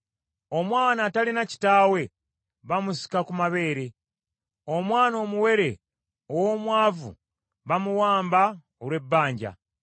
Omwana atalina kitaawe bamusika ku mabeere; omwana omuwere ow’omwavu bamuwamba olw’ebbanja.